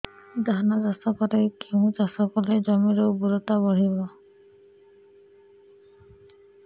ଧାନ ଚାଷ ପରେ କେଉଁ ଚାଷ କଲେ ଜମିର ଉର୍ବରତା ବଢିବ